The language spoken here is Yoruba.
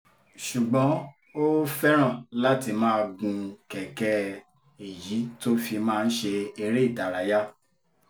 ṣùgbọ́n ó fẹ́ràn láti máa gun kẹ̀kẹ́ èyí tó fi máa ń ṣe eré ìdárayá